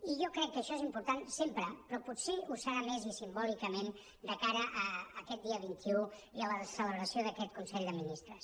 i jo crec que això és important sempre però potser ho serà més i simbòlicament de cara a aquest dia vint un i a la celebració d’a·quest consell de ministres